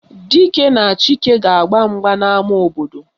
Dike na Chike ga-agba mgba n'ama obodo